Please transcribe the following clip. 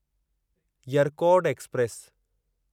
Yercaud express